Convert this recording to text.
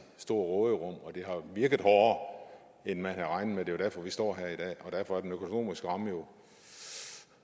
stort råderum og det har virket hårdere end man havde regnet med og det er derfor vi står her i dag og derfor er den økonomiske ramme jo